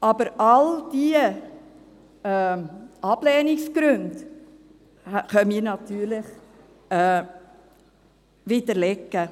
Aber all diese Ablehnungsgründe können wir natürlich widerlegen.